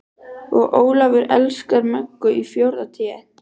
Og Ólafur elskar Möggu í fjórða Té.